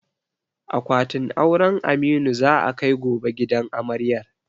Akwatin auren Aminu za a kai gobe gidan amaryar.